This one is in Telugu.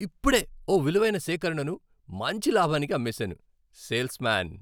ఇప్పుడే ఓ విలువైన సేకరణను మంచి లాభానికి అమ్మేశాను. Sales man